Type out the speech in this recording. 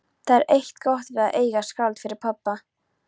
Það er eitt gott við að eiga skáld fyrir pabba.